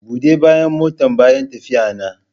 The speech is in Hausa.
Bude bayan motan bayan tafiyana.